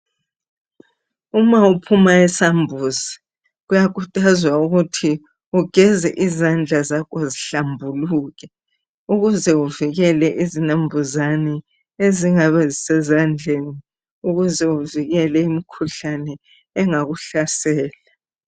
Uma uphuma esambuzi kuyakhuthazwa ukuthi ugeze izandla zakho zihlambuluke ukuze uvikele izinambuzane ezingabe zisezandleni ukuze uvikele imikhuhlane engakuhlasela.